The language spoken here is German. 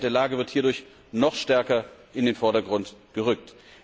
Die Dringlichkeit der Lage wird hierdurch noch stärker in den Vordergrund gerückt.